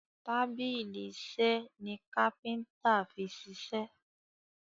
tábìlì iṣe ní kápẹ́ńtà fí ṣiṣe.